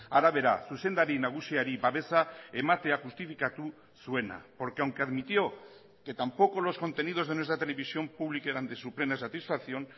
arabera zuzendari nagusiari babesa ematea justifikatu zuena porque aunque admitió que tampoco los contenidos de nuestra televisión pública eran de su plena satisfacción